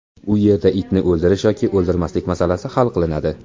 U yerda itni o‘ldirish yoki o‘ldirmaslik masalasi hal qilinadi.